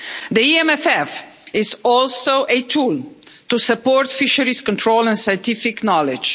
The EMFF is also a tool to support fisheries control and scientific knowledge.